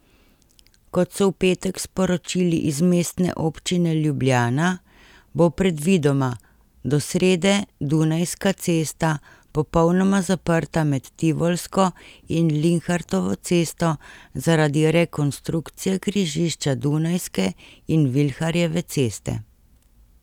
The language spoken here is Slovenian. Kot so v petek sporočili iz mestne občine Ljubljana, bo predvidoma do srede Dunajska cesta popolnoma zaprta med Tivolsko in Linhartovo cesto zaradi rekonstrukcije križišča Dunajske in Vilharjeve ceste.